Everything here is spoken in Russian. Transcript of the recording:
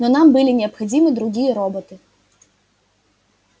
но нам были необходимы другие роботы